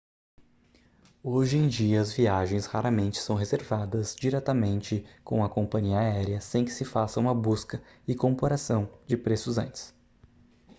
hoje em dia as viagens raramente são reservadas diretamente com a companhia aérea sem que se faça uma busca e comparação de preços antes